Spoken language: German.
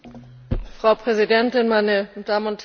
Frau Präsidentin, meine Damen und Herren!